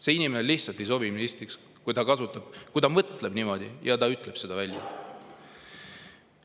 See inimene, kes mõtleb niimoodi ja selle ka välja ütleb, lihtsalt ei sobi ministriks.